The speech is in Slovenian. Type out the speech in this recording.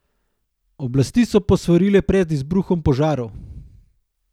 Oblasti so posvarile pred izbruhom požarov.